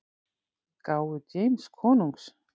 gáfu James konungs.